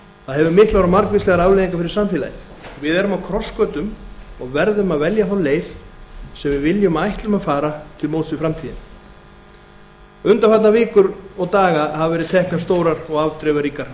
það hefur miklar og margvíslegar afleiðingar fyrir samfélagið við erum á krossgötum og verðum að velja þá leið sem við viljum og ætlum að fara til móts við framtíðina undanfarnar vikur og daga hafa verið teknar stórar og afdrifaríkar